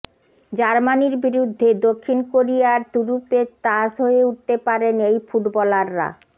জার্মানির বিরুদ্ধে দক্ষিণ কোরিয়ার তুরুপের তাস হয়ে উঠতে পারেন এই ফুটবলাররা